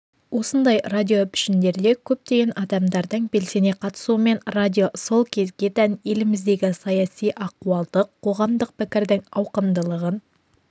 осындай радиопішіндерде көптеген адамдардың белсене қатысуымен радио сол кезге тән еліміздегі саяси ахуалды қоғамдық пікірдің ауқымдылығын